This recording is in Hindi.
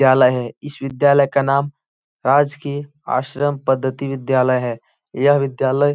विद्यालय है। इस विद्यालय का नाम राजकीय आश्रम पद्धति विद्यालय है। यह विद्यालय --